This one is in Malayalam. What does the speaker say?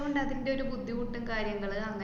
അതൂണ്ട് അതിന്‍റൊരു ബുദ്ധിമുട്ടും കാര്യങ്ങള് അങ്ങനെ